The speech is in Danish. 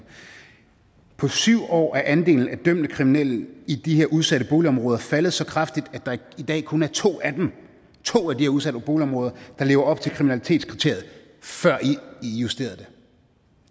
på syv år er andelen af dømte kriminelle i de her udsatte boligområder faldet så kraftigt at der i dag kun er to af dem to af de her udsatte boligområder der lever op til kriminalitetskriteriet før i justerede